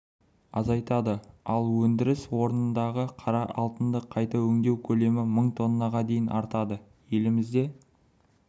азайтады ал әр өндіріс орнындағы қара алтынды қайта өңдеу көлемі мың тоннаға дейін артады елімізде